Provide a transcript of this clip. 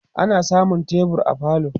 ana samun tebur a falo